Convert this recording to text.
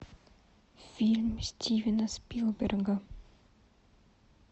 фильм стивена спилберга